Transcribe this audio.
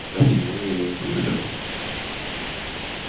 от её ему не полегчало